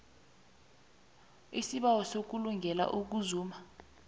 isibawo selungelo lokuzuma